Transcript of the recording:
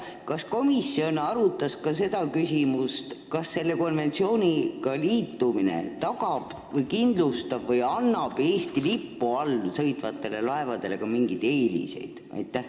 Kas komisjon arutas ka seda küsimust, kas selle konventsiooniga liitumine tagab, kindlustab või annab Eesti lipu all sõitvatele laevadele ka mingeid eeliseid?